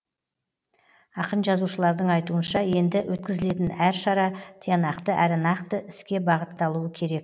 ақын жазушылардың айтуынша енді өткізілетін әр шара тиянақты әрі нақты іске бағытталуы керек